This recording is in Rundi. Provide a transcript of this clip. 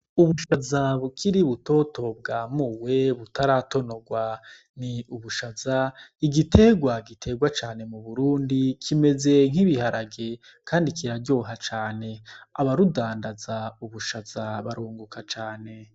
Ubushaza bukiri butoto bwamuwe butaratonorwa ni ubushaza igiterwa giterwa cane mu Burundi kimeze nk'ibiharage kandi kiraryoha cane aba budandaza ubushaza barunguka cane.